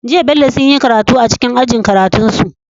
Jiya bello sunyi karatu a cikin ajin karatun su